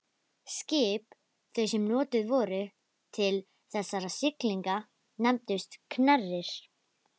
Skip þau sem notuð voru til þessara siglinga nefndust knerrir.